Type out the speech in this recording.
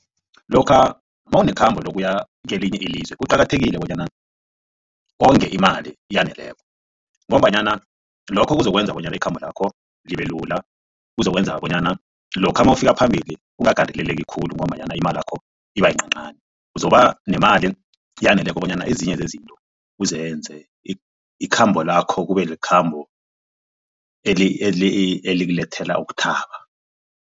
Lokha mawunekhambo lokuya kelinye ilizwe kuqakathekile bonyana wonge imali eyaneleko ngombanyana lokho kuzokwenza bonyana ikhambo lakho libelula kuzokwenza bonyana lokha mawufika phambili ungagandeleleki khulu ngombanyana imalakho iba yincanincani uzoba nemali eyaneleko bonyana ezinye zezinto uzenze ikhambo lakho kube likhambo elikulethela ukuthaba.